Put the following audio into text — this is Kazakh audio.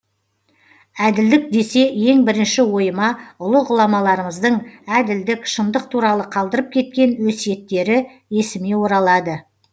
әділдік десе ең бірінші ойыма ұлы ғұламаларымыздың әділдік шындық туралы қалдырып кеткен өсиеттері есіме оралады